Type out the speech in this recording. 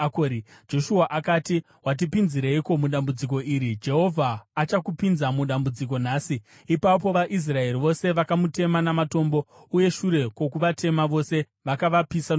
Joshua akati, “Watipinzireiko mudambudziko iri? Jehovha achakupinza mudambudziko nhasi.” Ipapo vaIsraeri vose vakamutema namatombo, uye shure kwokuvatema vose, vakavapisa nomoto.